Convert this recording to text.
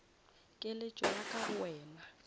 keletšo ya ka go wena